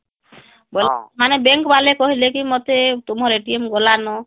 ହଁ ମାନେ bank ଵାଲା କହିଲେ ମତେ ତୁମର ଗଲା ନ